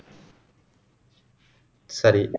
சரி